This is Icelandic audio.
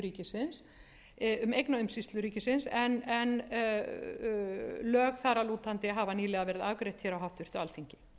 hlutafélag um eignaumsýslu ríkisins en lög þar að lútandi hafa nýlega verið afgreidd hér á háttvirtu alþingi